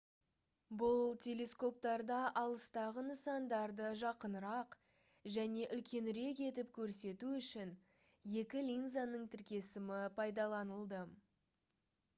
бұл телескоптарда алыстағы нысандарды жақынырақ және үлкенірек етіп көрсету үшін екі линзаның тіркесімі пайдаланылды